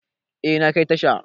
Eh, na kai tasha.